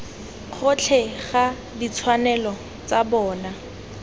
gotlhe ga ditshwanelo tsa bona